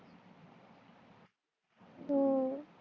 हु